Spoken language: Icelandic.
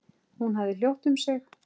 Hún hafði hljótt um sig.